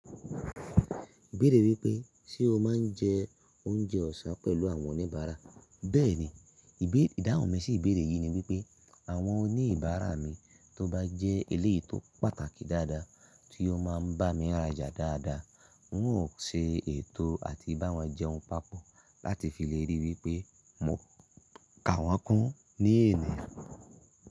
Ibẹ̀ẹ́rẹ̀ wípé ṣe o máa ń jẹ oúnjẹ ọ̀sán pẹ̀lú àwọn oníbàárà. Bẹ́ẹ̀ni, ìdáhùn mi sì ìbéèrè yìí ni wípé àwọn oníbàárà mi tó bá jẹ́ eléyìí tó pàtàkì dáadáa tí ó máa ń bá mi rájà dáadáa, ń ó ṣe ètò àti bá wọn jẹun papọ̀ láti fi lè rí i wípé mò ń ka wọ́n kún ní ènìyàn.